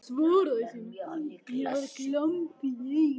Svaraði síðan, og var glampi í augunum: